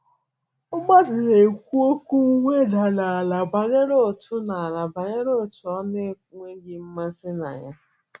Mmadụ na - ekwu okwu mweda n’ala banyere otu n’ala banyere otu ọ na - enweghị mmasị na ya.